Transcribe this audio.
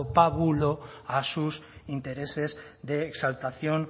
pábulo a sus intereses de exaltación